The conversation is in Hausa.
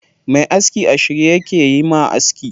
Mai aski a shirye yake yayi ma aski.